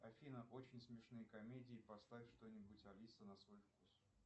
афина очень смешные комедии поставь что нибудь алиса на свой вкус